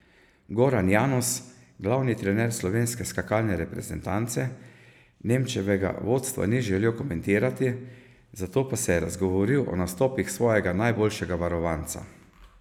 Goran Janus, glavni trener slovenske skakalne reprezentance, Nemčevega vodstva ni želel komentirati, zato pa se je razgovoril o nastopih svojega najboljšega varovanca.